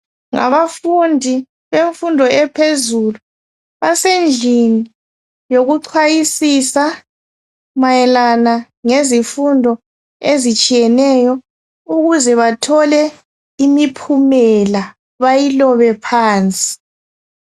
Ngabafundi bemfundo ephezulu basendlini yokuchayisisa mayelana ngezifundo ezitshiyeneyo ukuze bathole imiphumela bayilobe phansi.